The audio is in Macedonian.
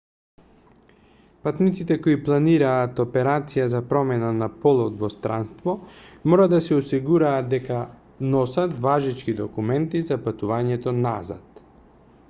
патниците кои планираат операција за промена на полот во странство мора да се осигураат дека носат важечки документи за патувањето назад